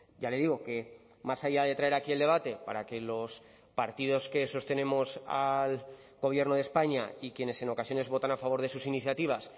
ya le digo que más allá de traer aquí el debate para que los partidos que sostenemos al gobierno de españa y quienes en ocasiones votan a favor de sus iniciativas